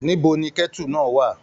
Níbo ni kẹ̀tú náà wà?